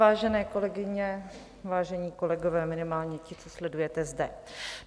Vážené kolegyně, vážení kolegové, minimálně ti, co sledujete zde.